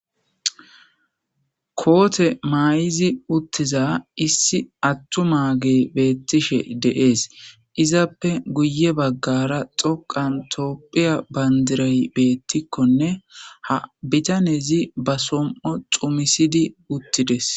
Kootte mayizi uttidiza issi attumage beetishe de7ees. Izappe guyye bagara xoqan tophphiya bandiray beetikonne bitanezi ba som7o xummisidi utidees.